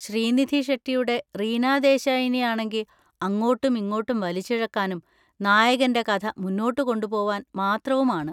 ശ്രീനിധി ഷെട്ടിയുടെ റീനാ ദേശായിനെ ആണെങ്കി അങ്ങോട്ടും ഇങ്ങോട്ടും വലിച്ചിഴക്കാനും നായകൻ്റെ കഥ മുന്നോട്ട് കൊണ്ടുപോവാൻ മാത്രവും ആണ്.